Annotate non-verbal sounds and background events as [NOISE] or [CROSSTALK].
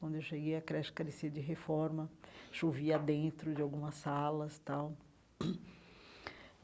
Quando eu cheguei, a creche carecia de reforma, chovia dentro de algumas salas tal. [CLEARS THROAT]